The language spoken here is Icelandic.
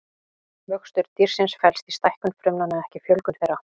Vöxtur dýrsins felst í stækkun frumnanna en ekki fjölgun þeirra.